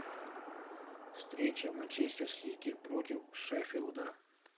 встреча манчестер сити против шеффилда